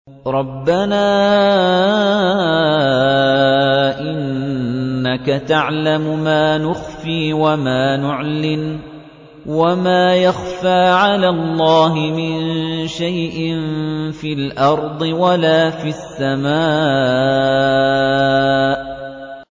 رَبَّنَا إِنَّكَ تَعْلَمُ مَا نُخْفِي وَمَا نُعْلِنُ ۗ وَمَا يَخْفَىٰ عَلَى اللَّهِ مِن شَيْءٍ فِي الْأَرْضِ وَلَا فِي السَّمَاءِ